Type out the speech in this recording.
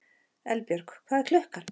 Eldbjörg, hvað er klukkan?